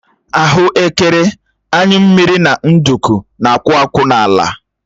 Ahuekere, anyụ mmiri na nduku na-akwụ akwụ n'ala